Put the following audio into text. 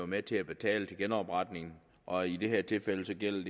med til at betale til genopretningen og i det her tilfælde tilfælde